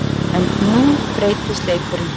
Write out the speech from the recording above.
En nú breytist leikurinn.